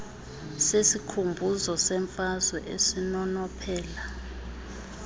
sesikhumbuzo semfazwe esinonophela